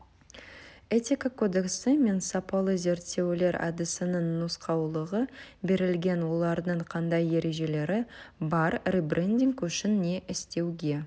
этика кодексі мен сапалы зерттеулер әдісінің нұсқаулығы берілген олардың қандай ережелері бар ребрендинг үшін не істеуге